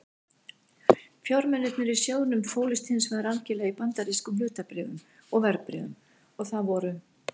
Fjármunirnir í sjóðnum fólust hins vegar algerlega í bandarískum hlutabréfum og verðbréfum og það voru